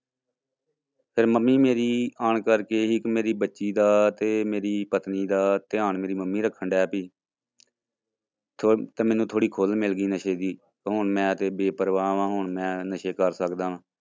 ਫਿਰ ਮੰਮੀ ਮੇਰੀ ਆਉਣ ਕਰਕੇ ਇੱਕ ਮੇਰੀ ਬੱਚੀ ਦਾ ਤੇ ਮੇਰੀ ਪਤਨੀ ਦਾ ਧਿਆਨ ਮੇਰੀ ਮੰਮੀ ਰੱਖਣ ਲੱਗ ਪਈ ਤੇ ਤੇ ਮੈਨੂੰ ਥੋੜ੍ਹੀ ਖੁੱਲ ਮਿਲ ਗਈ ਨਸ਼ੇ ਦੀ ਹੁਣ ਮੈਂ ਤੇ ਬੇਪਰਵਾਹ ਵਾਂ ਹੁਣ ਮੈਂ ਨਸ਼ੇ ਕਰ ਸਕਦਾ।